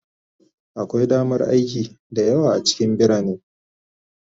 Akwai damar aiki da yawa a cikin birane